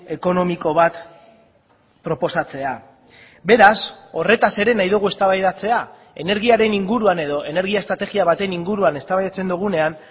ekonomiko bat proposatzea beraz horretaz ere nahi dugu eztabaidatzea energiaren inguruan edo energia estrategia baten inguruan eztabaidatzen dugunean